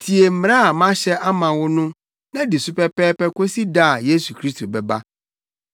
tie mmara a mahyɛ ama wo no na di so pɛpɛɛpɛ kosi da a Yesu Kristo bɛba.